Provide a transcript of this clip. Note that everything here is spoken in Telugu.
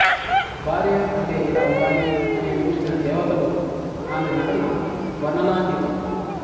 భార్య అంటే ఇలా వుండాలి అని అనిపించిన దేవతలో ఆమె నటన వర్ణనాతీతం